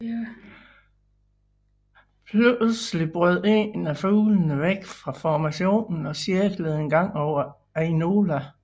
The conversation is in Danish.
Pludselig brød en af fuglene væk fra formationen og cirklede en gang over Ainola